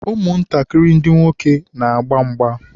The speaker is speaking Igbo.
ụmụ ntakịrị ndị nwoke na-agba mgba.